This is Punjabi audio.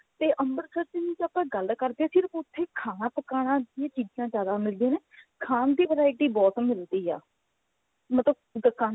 ਤੇ ਅੰਮ੍ਰਿਤਸਰ ਦੀ ਜੇ ਆਪਾਂ ਗੱਲ ਕਰਦੇ ਹਾਂ ਸਿਰਫ ਉੱਥੇ ਖਾਣਾ ਪਕਾਨਾ ਦੀਆਂ ਚੀਜਾਂ ਜਿਆਦਾ ਮਿਲਦੀਆਂ ਨੇ ਖਾਂ ਦੀ variety ਬਹੁਤ ਮਿਲਦੀ ਹੈ ਮਤਲਬ ਦੁਕਾਨਾ